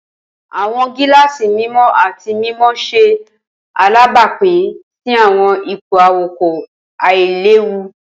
Awọn gilaasi mimọ ati mimọ ṣe alabapin si awọn ipo awakọ ailewu.